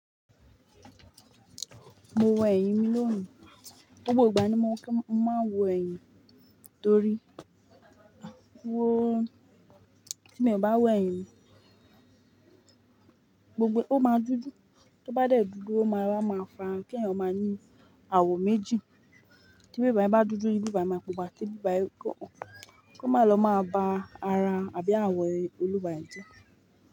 Mo wo ẹyin mi lónìí. Gbogbo ìgbà ni mo máa ń wo kí n máa wo ẹyin torí wó tí mo bá wo ẹ̀yin mi gbogbo ó máa dúdú, tó bá dẹ̀ dúdú ó máa ra máa farun kí ẹ̀yin ó máa ní àwọ̀ méjì. Tí bí báyi bá dúdú ibi báyìí máa pupa ti bi báyìí kán ọ́n, kó máa lọ máa ba ara àbí àwọ̀ e olùwá e je.